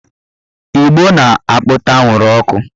Ìgbó na-apụta anwụrụ ọkụ